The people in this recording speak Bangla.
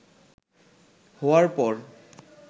হওয়ার পর